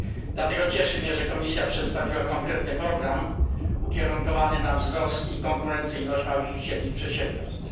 Dlatego cieszy mnie, że Komisja przedstawiła konkretny program ukierunkowany na wzrost i konkurencyjność małych i średnich przedsiębiorstw.